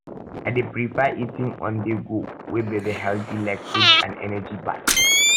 i dey prefer eating onthego wey be healthy like fruits and energy bars